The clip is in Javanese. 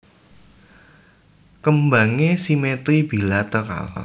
Kembangé simetri bilateral